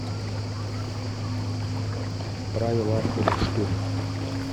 правила охоты штурм